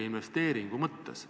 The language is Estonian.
Aitäh!